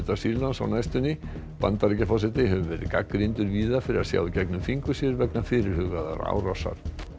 Sýrlands á næstunni Bandaríkjaforseti hefur verið gagnrýndur víða fyrir að sjá í gegnum fingur sér vegna fyrirhugaðrar árásar